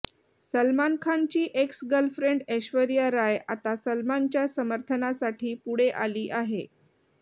सलमान खानची ex girlfriend Aishwarya Rai आता सलमानच्या समर्थनासाठी पुढे आली आहे